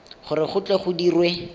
gore go tle go dirwe